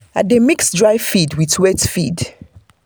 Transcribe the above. i dey mix dry feed with wet feed.